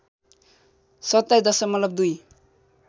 २७ दशमलव २